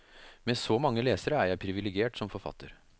Med så mange lesere er jeg privilegert som forfatter.